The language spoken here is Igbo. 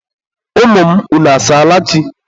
Ụmụ m, unu asaala chi?